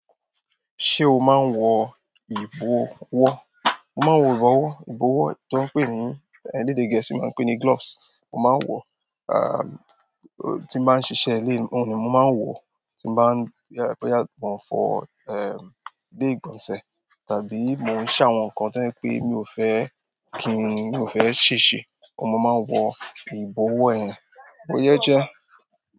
Ṣé o máa ń wọ ìbọwọ́? Mo máa ń wọ ìbọwọ́. Ìbọwọ́ tí wọ́n ń pè ní, èdè Gẹ̀ẹ́sì máa ń pè é ní gloves. Mo máa ń wọ̀, tí mo bá ń ṣiṣẹ́ ilé mí, mo máa ń wọ̀ tí mo bá ń, boya mo ń fọ ilé ìgbọ̀nsẹ̀, tàbí mo ń ṣ'àwọn nǹkan to je pé mi ò fẹ́ kí ń, mi ò fẹ́ ṣèṣe, oun ni mo máa ń wọ ìbọwọ́ yen. O yẹ jẹ́.